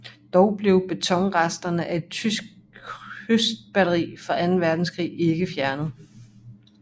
Dog blev betonresterne af et tysk kystbatteri fra anden verdenskrig ikke fjernet